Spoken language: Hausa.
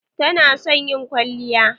Ta na son yin kwalliya.